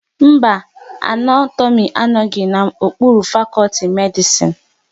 Mba, Anatomi anoghi n'okpuru fakọlti Medisin